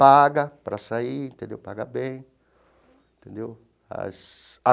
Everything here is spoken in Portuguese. Paga para sair entendeu, paga bem entendeu as.